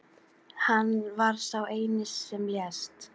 Hann var sá eini sem lést